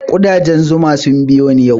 Ƙudajen zuma sun biyo ni yau